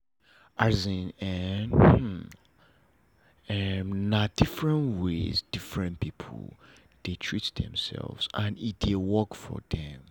as in eh na different ways different people dey treat themselves and e dey work for them